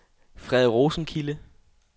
Frede Rosenkilde